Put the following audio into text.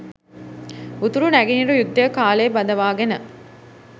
උතුරු නැගෙනහිර යුද්ධය කාලේ බඳවාගෙන